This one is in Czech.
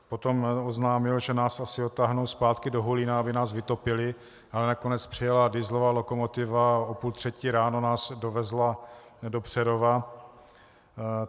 Potom oznámil, že nás asi odtáhnou zpátky do Hulína, aby nás vytopili, ale nakonec přijela dieselová lokomotiva a o půl třetí ráno nás dovezla do Přerova.